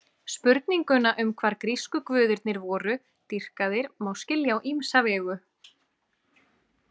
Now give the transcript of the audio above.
Spurninguna um hvar grísku guðirnir voru dýrkaðir má skilja á ýmsa vegu.